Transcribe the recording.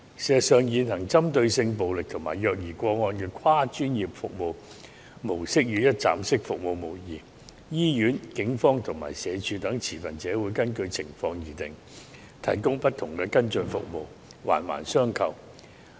事實上，現行針對性暴力及虐兒個案的跨專業服務模式與一站式服務無異，醫院、警方及社署等持份者會根據情況提供不同的跟進服務，環環相扣。